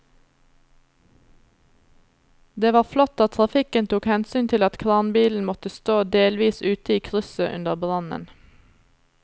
Det var flott at trafikken tok hensyn til at kranbilen måtte stå delvis ute i krysset under brannen.